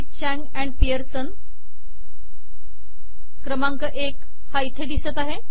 चांग आणि पिअर्सन क्रमांक एक हा इथे दिसत आहे